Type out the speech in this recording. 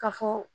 Ka fɔ